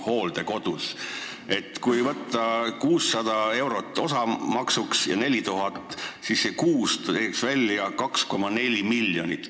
Kui me vaatame, et kohamaks on 600 eurot ja neid inimesi on 4000, siis see teeb kuus 2,4 miljonit.